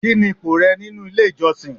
Kini ipò rẹ nínú ilé ìjọsìn?